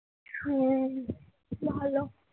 হম ভালো